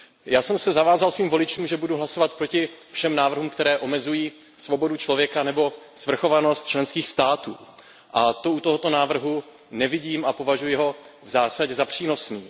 Já jsem se zavázal svým voličům, že budu hlasovat proti všem návrhům, které omezují svobodu člověka nebo svrchovanost členských států, a to u tohoto návrhu nevidím a považuji ho v zásadě za přínosný.